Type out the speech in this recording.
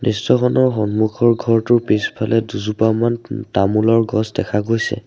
দৃশ্যখনৰ সন্মুখৰ ঘৰটোৰ পিছফালে দুজোপামান উ তামোলৰ গছ দেখা গৈছে।